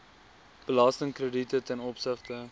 belastingkrediete ten opsigte